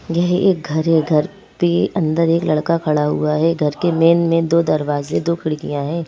यह एक घर है घर पे अंदर एक लड़का खड़ा हुआ है घर के मेन में दो दरवाजे दो खिड़कियां हैं।